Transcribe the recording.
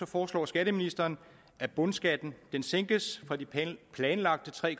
foreslår skatteministeren at bundskatten sænkes fra de planlagte tre